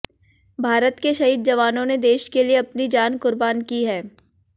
भारत के शहीद जवानों ने देश के लिए अपनी जान कुर्बान की है